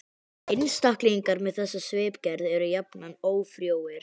Einstaklingar með þessa svipgerð eru jafnan ófrjóir.